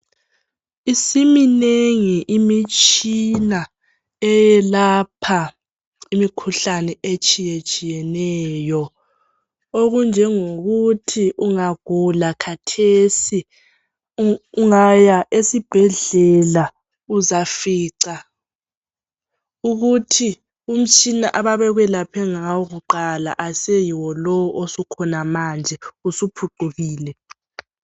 Isiminengi imitshina eyelapha imikhuhlane etshiyatshiyeneyo okunjengokuthi ungagula kathesi ungaya esibhedlela uzafica ukuthi umtshina ababekwelaphe ngawo kuqala aseyiwo lo osukhona manje usuphucukile.